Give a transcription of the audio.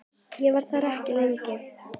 Ég var þar ekki lengi.